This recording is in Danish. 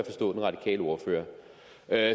da